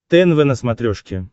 тнв на смотрешке